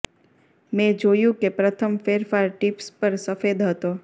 મેં જોયું કે પ્રથમ ફેરફાર ટીપ્સ પર સફેદ હતો